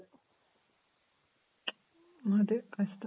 ಅದೆ ಕಷ್ಟ.